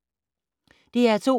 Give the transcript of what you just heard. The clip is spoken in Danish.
DR2